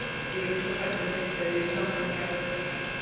Ég er svo hrædd við myrkrið í sjálfri mér, Viktoría.